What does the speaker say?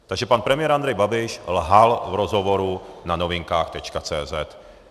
Takže pan premiér Andrej Babiš lhal v rozhovoru na novinkách.